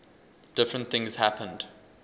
different things happened